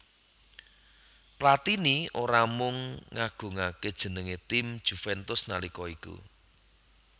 Platini ora mung ngagungaké jenengé tim Juventus nalika iku